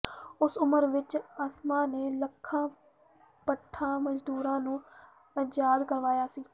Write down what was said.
ਉਸ ਉਮਰ ਵਿੱਚ ਅਸਮਾਂ ਨੇ ਲੱਖਾਂ ਭੱਠਾਂ ਮਜ਼ਦੂਰਾਂ ਨੂੰ ਆਜ਼ਾਦ ਕਰਵਾਇਆ ਸੀ